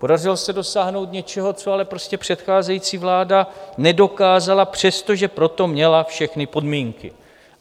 Podařilo se dosáhnout něčeho, co ale prostě předcházející vláda nedokázala, přestože pro to měla všechny podmínky.